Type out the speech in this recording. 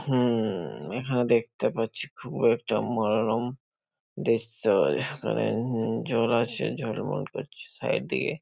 হুম-ম-ম-ম এখানে দেখতে পাচ্ছি খুব একটা মনোরম দৃশ্য। এখানে জল আছে ঝলমল করছে সাইড দিয়ে।